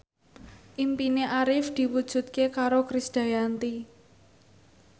impine Arif diwujudke karo Krisdayanti